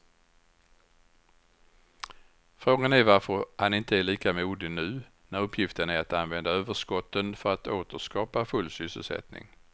Frågan är varför han inte är lika modig nu när uppgiften är att använda överskotten för att åter skapa full sysselsättning.